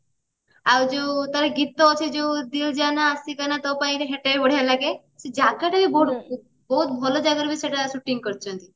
ଆଉ ଯୋଉ ତାର ଗୀତ ଅଛି ଯୋଉ ତୋ ପାଇଁ ସେଟା ବଢିଆ ଲାଗେ ସେ ଜାଗା ଟା ବି ବହୁତ ଭଲ ଜାଗାରେ ସେମାନେ shouting କରିଛନ୍ତି